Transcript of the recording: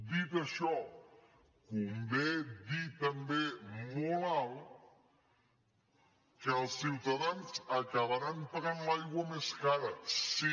dit això convé dir també molt alt que els ciutadans acabaran pagant l’aigua més cara sí